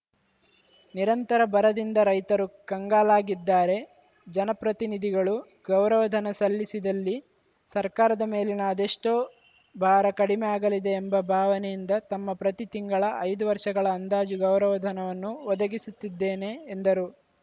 ನಿರಂತರ ಬರದಿಂದ ರೈತರು ಕಂಗಾಲಾಗಿದ್ದಾರೆ ಜನಪ್ರತಿನಿಧಿಗಳು ಗೌರವಧನ ಸಲ್ಲಿಸಿದಲ್ಲಿ ಸರ್ಕಾರದ ಮೇಲಿನ ಅದೆಷ್ಟೋ ಭಾರ ಕಡಿಮೆ ಆಗಲಿದೆ ಎಂಬ ಭಾವನೆಯಿಂದ ತಮ್ಮ ಪ್ರತಿ ತಿಂಗಳ ಐದು ವರ್ಷಗಳ ಅಂದಾಜು ಗೌರವಧನವನ್ನು ಒದಗಿಸುತ್ತಿದ್ದೇನೆ ಎಂದರು